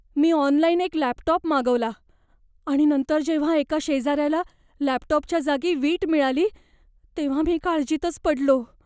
मी online एक laptop मागवला आणि नंतर जेव्हा एका शेजाऱ्याला लॅपटॉपच्या जागी वीट मिळाली तेव्हा मी काळजीतच पडलो.